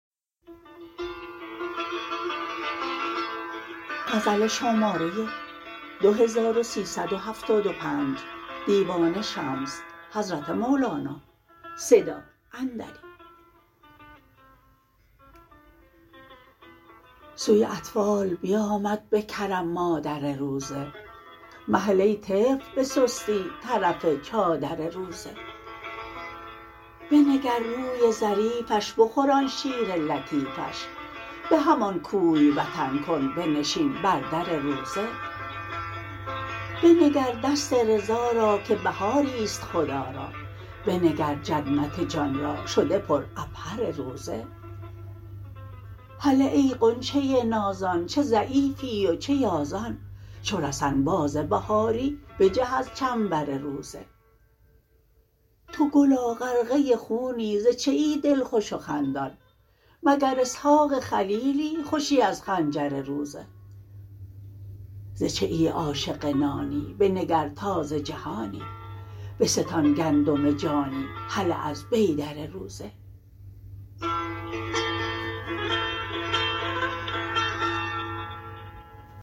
سوی اطفال بیامد به کرم مادر روزه مهل ای طفل به سستی طرف چادر روزه بنگر روی ظریفش بخور آن شیر لطیفش به همان کوی وطن کن بنشین بر در روزه بنگر دست رضا را که بهاری است خدا را بنگر جنت جان را شده پر عبهر روزه هله ای غنچه نازان چه ضعیفی و چه یازان چو رسن باز بهاری بجه از چنبر روزه تو گلا غرقه خونی ز چیی دلخوش و خندان مگر اسحاق خلیلی خوشی از خنجر روزه ز چیی عاشق نانی بنگر تازه جهانی بستان گندم جانی هله از بیدر روزه